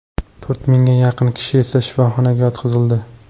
To‘rt mingga yaqin kishi esa shifoxonaga yotqizildi.